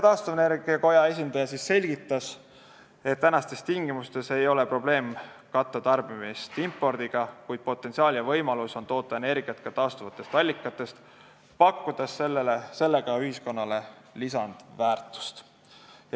Taastuvenergia koja esindaja selgitas, et tänastes tingimustes ei ole probleem katta tarbimise vajadust impordiga, kuid potentsiaal ja võimalus on toota energiat ka taastuvatest allikatest, pakkudes sellega ühiskonnale lisandväärtust.